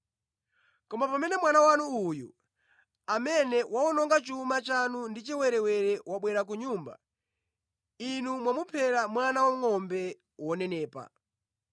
Koma pamene mwana wanu uyu amene wawononga chuma chanu ndi achiwerewere wabwera ku nyumba, inu mwamuphera mwana wangʼombe wonenepa.’ ”